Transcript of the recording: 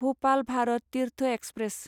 Bhopal Bharat Tirth express